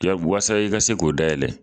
waasa i ka se k'o dayɛlɛ